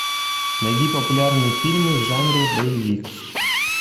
найди популярные фильмы в жанре боевик